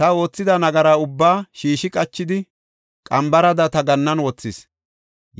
Ta oothida nagara ubbaa shiishi qachidi, qambarada ta gannan wothis;